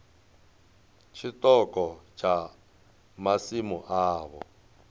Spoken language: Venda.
ya tshiṱoko tsha masimu avho